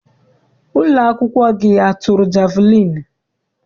Ụlọakwụkwọ gị atụrụ jeviliini?